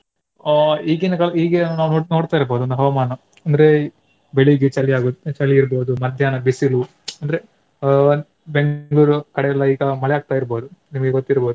ಆ ಈಗಿನ ಕಾಲ~ ಈಗ ನಾವು ನೋಡ್ತಾ ಇರ್ಬಹುದು ಒಂದು ಹವಾಮಾನ ಅಂದ್ರೆ ಬೆಳಿಗ್ಗೆ ಚಳಿಯಾಗುವುದು ಚಳಿ ಇರ್ಬಹುದು ಮಧ್ಯಾಹ್ನ ಬಿಸಿಲು ಅಂದ್ರೆ ಅಹ್ ಬೆಂಗ್ಳೂರು ಕಡೆಯೆಲ್ಲ ಈಗ ಮಳೆ ಆಗ್ತಾ ಇರ್ಬಹುದು. ನಿಮಗೆ ಗೊತ್ತಿರ್ಬಹುದು.